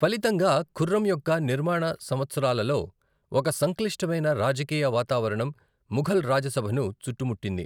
ఫలితంగా, ఖుర్రం యొక్క నిర్మాణ సంవత్సరాలలో ఒక సంక్లిష్టమైన రాజకీయ వాతావరణం ముఘల్ రాజసభను చుట్టుముట్టింది.